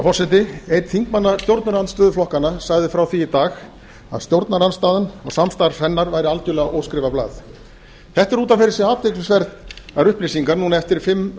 forseti einn þingmanna stjórnarandstöðuflokkanna sagði frá því í dag að stjórnarandstaðan og samstarf hennar væri algjörlega óskrifað blað þetta eru út af fyrir sig athyglisverðar upplýsingar núna eftir að fimm